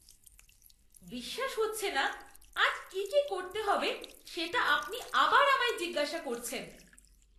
বিশ্বাস হচ্ছে না, আজ কী কী করতে হবে সেটা আপনি আবার আমায় জিজ্ঞাসা করছেন!